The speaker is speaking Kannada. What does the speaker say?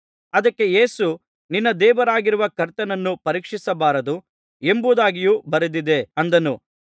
ಅದಕ್ಕೆ ಯೇಸು ನಿನ್ನ ದೇವರಾಗಿರುವ ಕರ್ತನನ್ನು ಪರೀಕ್ಷಿಸಬಾರದು ಎಂಬುದಾಗಿಯೂ ಬರೆದಿದೆ ಅಂದನು